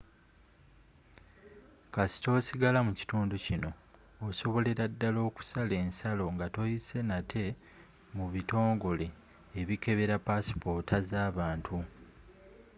kasita osigala mu kitundu kino osobolera ddala okusala ensalo nga toyise nate mu bitongole ebikebera passipoota z'abantu